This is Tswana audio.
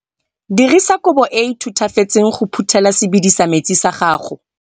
Dirisa kobo e e thutafetseng go phuthela sebedisa metsi sa gago.